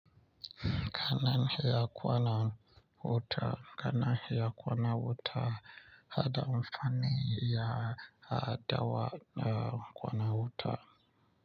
Kanan hiya kwana wuta. Kanan hiya kwana wuta, hada amfani ya hadawa na kwana wuta.